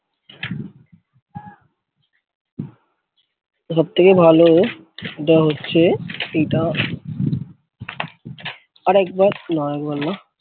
সবথেকে ভালো যেটা হচ্ছে এটা আরেকবার না এক বার না ।